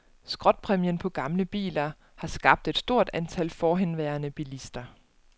Skrotpræmien på gamle biler har skabt et stort antal forhenværende bilister.